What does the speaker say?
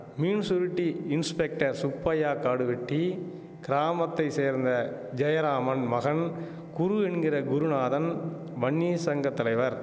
Meensurutti inspector Subbaiah Kaduvetti கிராமத்தை சேர்ந்த ஜெயராமன் மகன் குரு என்கிற குருநாதன் வன்னியர் சங்க தலைவர்